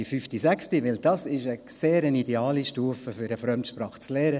Denn das ist eine sehr ideale Stufe, um eine Fremdsprache zu lernen.